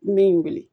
N bɛ n wele